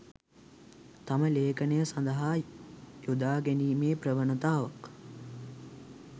තම ලේඛනය සඳහා යොදා ගැනීමේ ප්‍රවණතාවක්